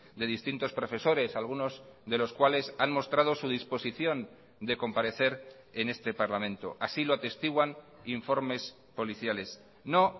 de distintos profesores algunos de los cuales han mostrado su disposición de comparecer en este parlamento así lo atestiguan informes policiales no